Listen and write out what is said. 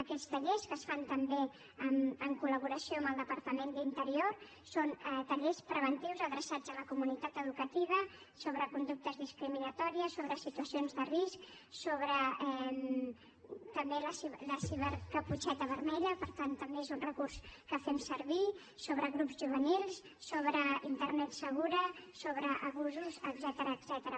aquests tallers que es fan també en col·laboració amb el departament d’interior són tallers preventius adreçats a la comunitat educativa sobre conductes discriminatòries sobre situacions de risc també la cibercaputxeta vermella per tant també és un recurs que fem servir sobre grups juvenils sobre internet segura sobre abusos etcètera